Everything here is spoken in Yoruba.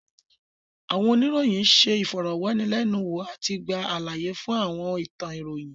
Àwọn oníròyìn ṣé ìfọ̀rọ̀wánilẹ́nuwò àti gba àlàyé fún àwọn ìtàn ìròyìn